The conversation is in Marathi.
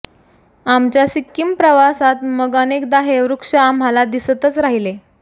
आमच्या सिक्कीम प्रवासात मग अनेकदा हे वृक्ष आम्हाला दिसतच राहिले